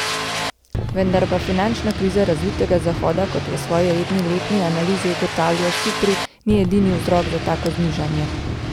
Vendar pa finančna kriza razvitega Zahoda, kot v svoji redni letni analizi ugotavlja Sipri, ni edini vzrok za tako znižanje.